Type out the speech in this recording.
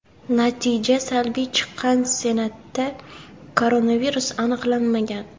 Natija salbiy chiqqan Senatda koronavirus aniqlanmagan.